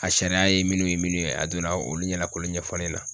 A sariya ye minnu ye minnu ye, a donna olu ɲɛna k'olu ɲɛfɔ ne ɲɛna.